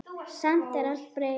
Samt er allt breytt.